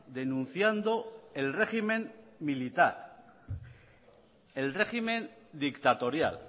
denunciando el régimen militar el régimen dictatorial